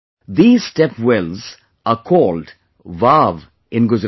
These step wells are called Vav in Gujarat